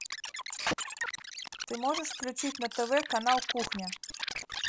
ты можешь включить на тв канал кухня